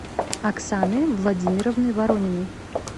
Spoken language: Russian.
оксаны владимировны ворониной